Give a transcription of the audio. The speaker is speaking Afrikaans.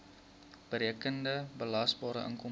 berekende belasbare inkomste